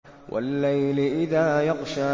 وَاللَّيْلِ إِذَا يَغْشَىٰ